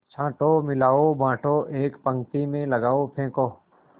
छाँटो मिलाओ बाँटो एक पंक्ति में लगाओ फेंको